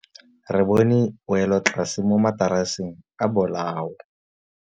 Re bone wêlôtlasê mo mataraseng a bolaô.